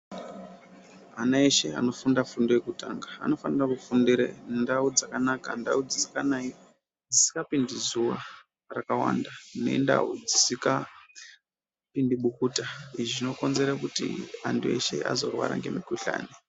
Ana eshe anofunda fundo yekutanga anofanira kufundire ndau dzakanaka. Ndau dzisikanayi, dzisikapindi zuva rakawanda nendau dzisikapindi bukuta, izvi zvinokonzere kuti antu eshe azorwara ngemikuhlani.